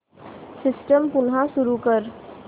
system पुन्हा सुरू कर